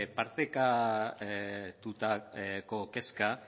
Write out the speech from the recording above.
partekatutako kezka